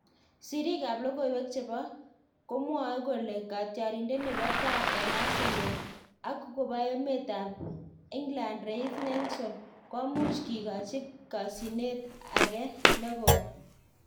Siriik ab lokoiwek chebo komwae kole katyarindet nebo tai en Arsenal, ak kobo emet ab England Reiss Nelson komuch kikachi kasyinet ake negoi